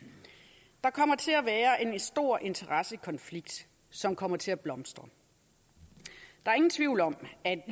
stor interessekonflikt som kommer til at blomstre der er ingen tvivl om at